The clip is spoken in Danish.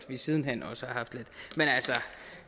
vi siden hen også